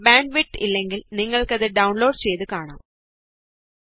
നിങ്ങള്ക്ക് നല്ല bandwidth ഇല്ലെങ്കില് നിങ്ങള്ക്ക് അത് ഡൌണ്ലോഡ് ചെയ്ത് കാണാം